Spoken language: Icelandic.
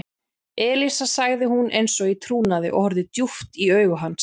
Elísa sagði hún eins og í trúnaði og horfði djúpt í augu hans.